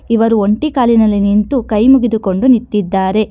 ಇವರಿಗೆ ಒಂಟಿ ಕಾಲಿನಲ್ಲಿ ನಿಂತು ಕೈ ಮುಗಿದುಕೊಂಡು ನಿಂತಿದ್ದಾರೆ.